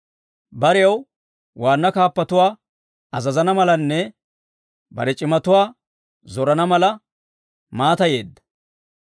Barew waanna kaappotuwaa azazana malanne bare c'imatuwaa zorana mala maatayeedda.